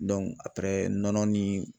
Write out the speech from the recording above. nɔnɔ ni